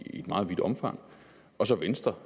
meget vidt omfang og så venstre